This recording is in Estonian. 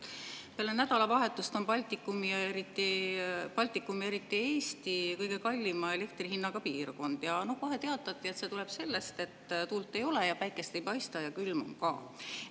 Peale nädalavahetust on Baltikum ja eriti Eesti kõige kallima elektrihinnaga piirkond ja kohe teatati, et see tuleb sellest, et tuult ei ole ja päike ei paista ja külm on ka.